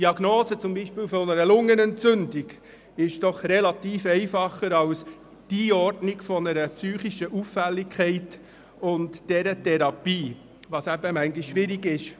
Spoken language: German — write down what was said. Die Diagnose und Therapie einer Lungenentzündung zum Beispiel ist einfacher als die Einordnung einer psychischen Auffälligkeit und die Verordnung der richtigen Therapie.